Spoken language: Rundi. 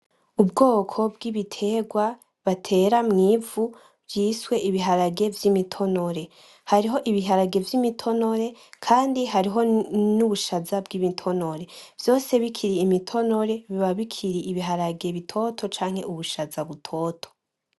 Ubwoko bw'ibitegwa batera mw'ivu vyiswe ibiharage vy'imitonore, hariho ibiharage vy'imitonore kandi hariho n'ubushaza bw'umutonore, vyose bikiri umutonore biba bikiri ibiharage bitoto canke ubushaza butoto.